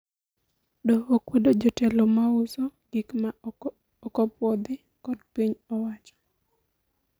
Doho okwedo jotelo ma uso gik ma okopuodhi kod piny owacho